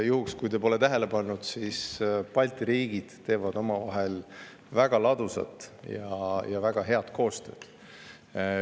Võib-olla te pole tähele pannud, aga Balti riigid teevad omavahel väga ladusat ja head koostööd.